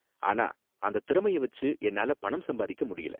ஆனா அந்த திறமைய வெச்சு என்னால பணம் சம்பாதிக்க முடியல.